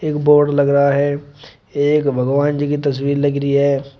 जो बोर्ड लग रहा है एक भगवान जी की तस्वीर लग रही है।